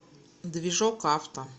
движокавто